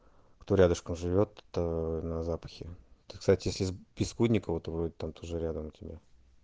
кто рядышком живёт тут на запахе ты кстати если с бескудниково там тоже рядом тебе